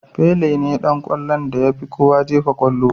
Pele ne Dan kwallon da yafi kowa jefa kwallo.